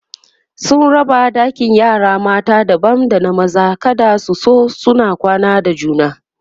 sun raba ɗakin yara mata daban da na maza kada su zo suna kwana da juna